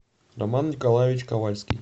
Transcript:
роман николаевич ковальский